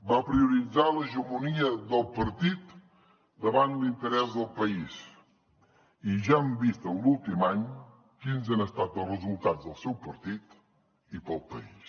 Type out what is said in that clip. va prioritzar l’hegemonia del partit davant l’interès del país i ja hem vist en l’últim any quins han estat els resultats del seu partit i per al país